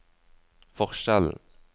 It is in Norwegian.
forskjellen